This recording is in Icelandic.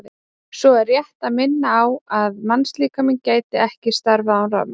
Svo er rétt að minna á það að mannslíkaminn gæti ekki starfað án rafmagns.